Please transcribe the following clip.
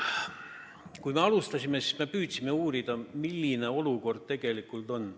Kui me alustasime, siis me püüdsime uurida, milline olukord tegelikult on.